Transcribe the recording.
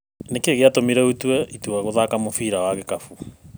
Nĩki gĩatũmire ũtue itua gũthaka mũbira wa gĩkabũ?